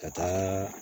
Ka taa